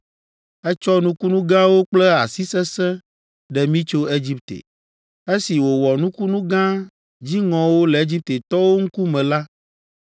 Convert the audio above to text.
Etsɔ nukunu gãwo kple asi sesẽ ɖe mí tso Egipte. Esi wòwɔ nukunu gã dziŋɔwo le Egiptetɔwo ŋkume la,